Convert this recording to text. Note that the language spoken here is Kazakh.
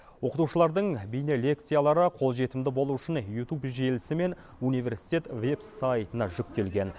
оқытушылардың бейнелекциялары қолжетімді болу үшін ютуб желісі мен университет веб сайтына жүктелген